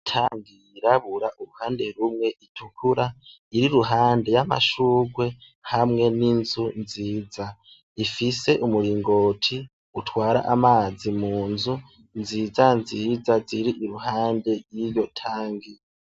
Itangi yirabura uruhande rumwe itukura iri ruhande y'amashugwe hamwe n'inzu nziza ifise umuringoti utwara amazi munzu nziza nziza ziri iruhande yiyo tangi.